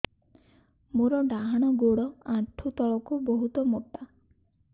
ମୋର ଡାହାଣ ଗୋଡ ଆଣ୍ଠୁ ତଳୁକୁ ବହୁତ ମୋଟା